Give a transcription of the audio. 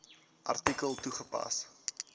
artikel toegepas